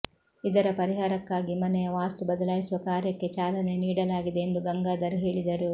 ಇದರ ಪರಿಹಾರಕ್ಕಾಗಿ ಮನೆಯ ವಾಸ್ತು ಬದಲಾಯಿಸುವ ಕಾರ್ಯಕ್ಕೆ ಚಾಲನೆ ನೀಡಲಾಗಿದೆ ಎಂದು ಗಂಗಾಧರ್ ಹೇಳಿದರು